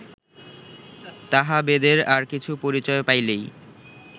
তাহা বেদের আর কিছু পরিচয় পাইলেই